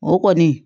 O kɔni